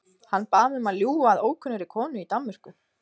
Hann bað mig um að ljúga að ókunnugri konu í Danmörku.